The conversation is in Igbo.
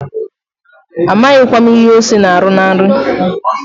Amaghịkwa m ihe ose na-arụ na nri.